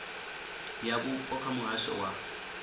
ya vhupo kha muhasho wa